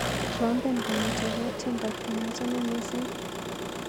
Trompen kong'eteke tyendo neachame missing.